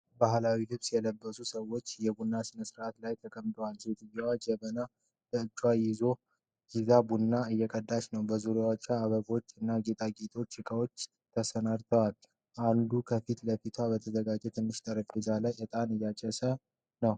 ባሕላዊ ልብስ የለበሱ ሰዎች በቡና ሥነ-ሥርዓት ላይ ተቀምጠዋል። ሴትዮዋ ጀበና በእጅ ይዛ ቡና እየቀዳች ነው። በዙሪያቸው አበቦችና የጌጣጌጥ ዕቃዎች ተሰናድተዋል። ወንዱ ከፊት ለፊቱ በተዘጋጀ ትንሽ ጠረጴዛ ላይ ዕጣን እያጨሰ ነው።